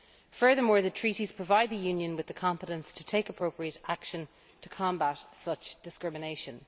Furthermore, the Treaties provide the Union with the competence to take appropriate action to combat such discrimination.